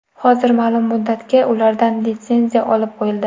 Hozir ma’lum muddatga ulardan litsenziya olib qo‘yildi.